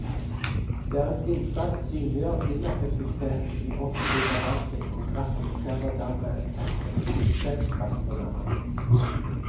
Deres innsats synliggjør ineffektiviteten i offentlig forvaltning og representerer dermed et effektivitetspress på denne.